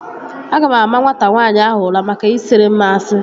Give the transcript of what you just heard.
Aga m ama nwata nwaanyị ahụ ụra maka ị siri m asị